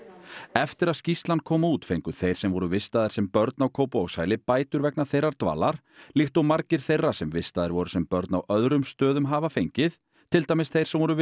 eftir að skýrslan kom út fengu þeir sem voru vistaðir sem börn á Kópavogshæli bætur vegna þeirrar dvalar líkt og margir þeirra sem vistaðir voru sem börn á öðrum stöðum hafa fengið til dæmis þeir sem voru